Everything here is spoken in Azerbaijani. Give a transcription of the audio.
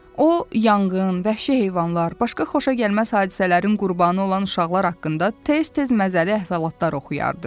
O yanğın, vəhşi heyvanlar, başqa xoşagəlməz hadisələrin qurbanı olan uşaqlar haqqında tez-tez məzəli əhvalatlar oxuyardı.